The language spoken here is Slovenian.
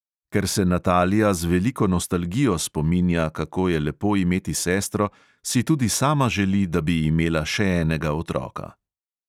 Ker se natalija z veliko nostalgijo spominja, kako je lepo imeti sestro, si tudi sama želi, da bi imela še enega otroka.